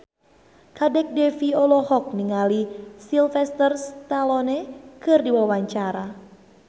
Kadek Devi olohok ningali Sylvester Stallone keur diwawancara